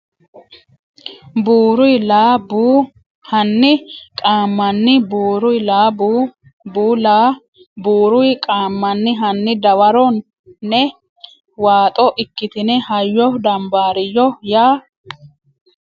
buuruy la Bu Hanni qaammanni buuruy la Bu Bu la buuruy qaammanni Hanni dawaro ne waaxoo ikkitine hayyo dambaariyyo ya !